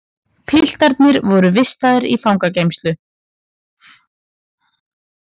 Piltarnir voru vistaðir í fangageymslu